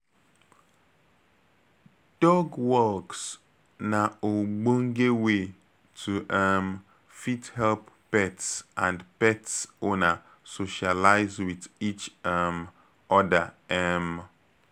Dog walks na ogbonge way to um fit help pets and pet owner socialize with each um oda um